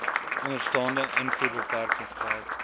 onderstaande invoerbeperkings geld